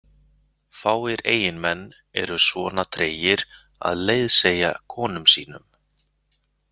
Fáir eiginmenn eru svona tregir að leiðsegja konum sínum.